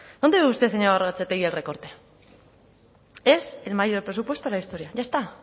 dónde ve usted señora gorrotxategi el recorte es el mayor presupuesto de la historia ya está